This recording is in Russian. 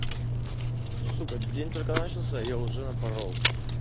сука день только начался а я уже напорол